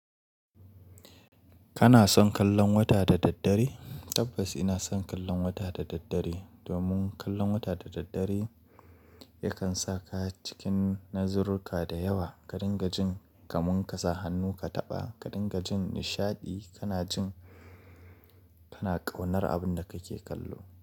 Kana son kallon wata da daddare? Tabbas ina son kallon wata da daddare. Domin kallon wata da daddare yakan sa ka cikin nazarruka da yawa. Ka dinga jin kaman kasa hannu ka taɓa, ka dinga jin nishaɗi kana jin kana ƙaunar abin da kake kallo.